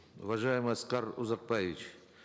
уважаемый аскар узакбаевич